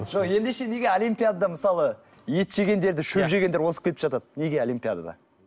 жоқ ендеше неге олимпиадада мысалы ет жегендерді шөп жегендер озып кетіп жатады неге олимпиадада